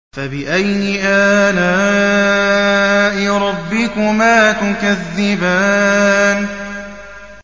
فَبِأَيِّ آلَاءِ رَبِّكُمَا تُكَذِّبَانِ